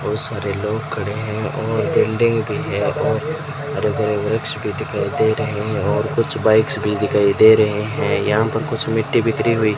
बहुत सारे लोग खड़े हैं और बिल्डिंग भी है और हरे भरे वृक्ष दिखाई दे रहे हैं और कुछ बाइक्स भी दिखाई दे रहे हैं यहां पर कुछ मिट्टी बिखरी हुई --